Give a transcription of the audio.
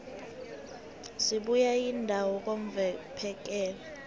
isibuya yindawo yokvphekela